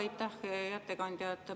Aitäh, hea ettekandja!